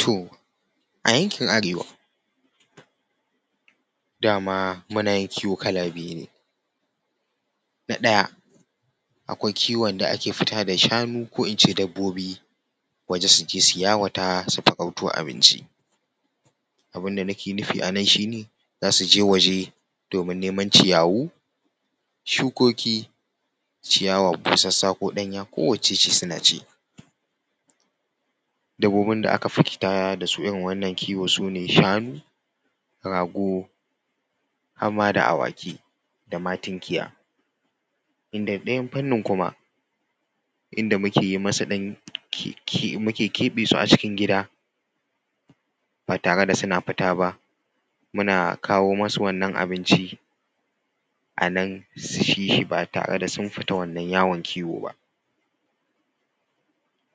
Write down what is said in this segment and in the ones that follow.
Toh a yankin arewa, dama muna yin kiwo kala biyu ne. Na ɗaya, akwai kiwon da ake fita da shanu ko in ce dabbobi waje su je su yawata su farauto abinci. Abin da nake nufi a nan shine, za su je waje domin neman ciyawu, shukoki, ciyawa busassa ko ɗanya ko wacce ce suna ci. Dabbobin da aka fi fita da su irin wannan kiwo su ne shanu, rago har ma da awaki da ma tinkiya. Inda ɗayan fannin kuma inda muke yi masu ɗan kkk muke keɓe su a cikin gida ba tare da suna fita ba muna kawo musu wannan abinci a nan su ci shi ba tare da sun fita wannan yawon kiwo ba.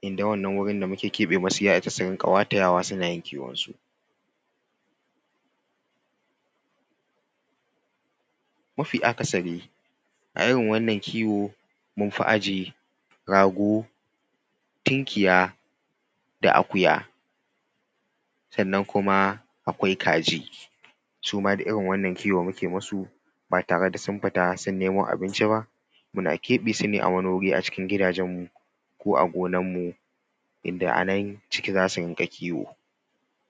Inda wannan wuri da muka keɓe masu ya isa su rinƙa watayawa suna yin kiwon su. Mafi akasari a irin wannan kiwon mun fi ajiye rago, tinkiya da akuya, sannan kuma akwai kaji, suma kuma duk irin wannan kiwon muke masu ba tare da sun fita sun nemo abinci ba muna keɓe su ne a wani wuri acikin gidajen mu ko a gonar mu inda a nan ciki za su rinƙa kiwo.